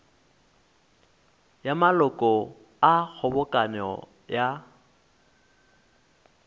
ya maloko a kgobokano ya